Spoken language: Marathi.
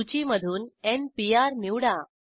सूचीमधून n पीआर निवडा